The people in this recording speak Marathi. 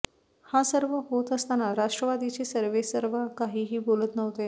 हे सर्व होत असताना राष्ट्रवादीचे सर्वेसर्वा काहीही बोलत नव्हते